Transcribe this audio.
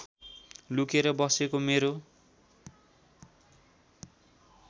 लुकेर बसेको मेरो